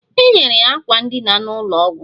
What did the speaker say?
Enyere ya akwa ndịna n'ụlọ ọgwụ